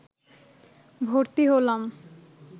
ভর্তি হলাম